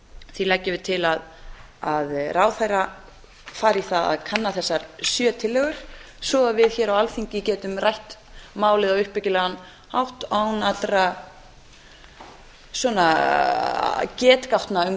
því leggjum við til að ráðherra fari í það að kanna þessar sjö tillögum svo að við hér á alþingi getum rætt málið á uppbyggilegan hátt án allra getgátna um